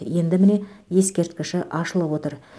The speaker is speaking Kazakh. енді міне ескерткіші ашылып отыр